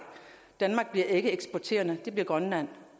danmark bliver ikke eksporterende men gør grønland